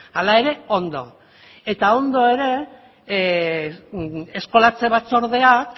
hala ere ondo eta ondo ere eskolatze batzordeak